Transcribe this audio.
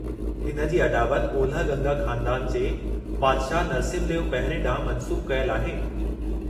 हिन जी अॾावत ओलह गंगा ख़ानदान जे बादशाहु नरसिम्हदेव पहिरिएं ॾांहुं मंसूबु कयलु आहे।